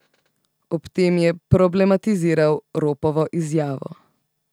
Ob tem je problematiziral Ropovo izjavo.